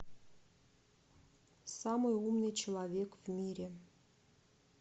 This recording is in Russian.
самый умный человек в мире